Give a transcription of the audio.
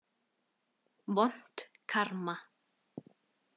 Vont karma.